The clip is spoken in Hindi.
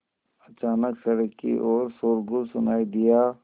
अचानक सड़क की ओर शोरगुल सुनाई दिया